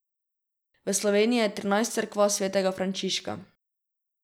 V Sloveniji je trinajst cerkva svetega Frančiška.